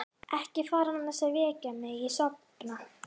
Ekki fara án þess að vekja mig ef ég sofna.